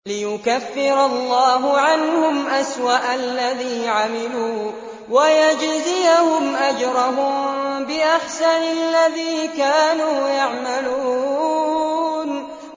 لِيُكَفِّرَ اللَّهُ عَنْهُمْ أَسْوَأَ الَّذِي عَمِلُوا وَيَجْزِيَهُمْ أَجْرَهُم بِأَحْسَنِ الَّذِي كَانُوا يَعْمَلُونَ